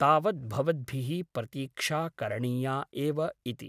तावत् भवद्भिः प्रतीक्षा करणीया एव ' इति ।